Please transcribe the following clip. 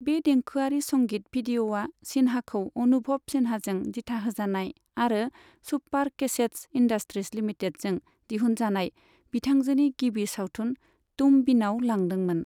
बे देंखोआरि संगित भिडिय'आ सिन्हाखौ अनुभव सिन्हाजों दिथाहोजानाय आरो सुपार कैसेटस इन्डास्ट्रिज लिमिटेडजों दिहुनजानाय बिथांजोनि गिबि सावथुन तुम बिनाव लांदोंमोन।